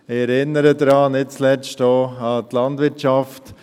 Ich erinnere nicht zuletzt auch an die Landwirtschaft: